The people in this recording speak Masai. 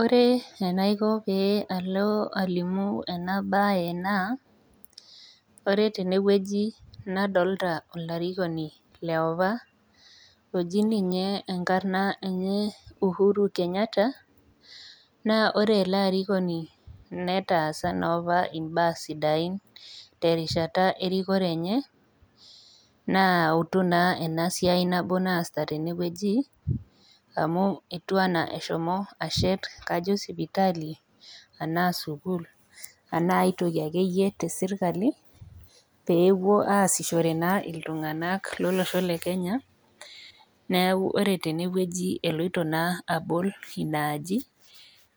Ore enaiko pee alo alimu enabae naa ,ore tenewueji nadolita olarikoni liopa oji ninye enkarna enye uhuru kenyata , naa ore ele arikoni netaasa naapa imbaa sidain terishata erikore enye , naa eutu naa enasiai nabo naaita tenewueji amu etiu enaa eshomo ashet kajo sipitali ,anaa sukul , anaa aitoki akeyie tesirkali , pepuo aasishore naa iltunganak lolosho lekenya .Neku ore tenewueji eloito naa abol inaaji